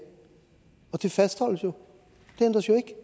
og det fastholdes jo det ændres jo ikke